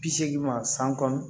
Bi seegin ma san kɔnɔ